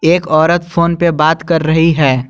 एक औरत फोन पे बात कर रही है।